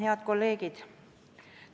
Head kolleegid!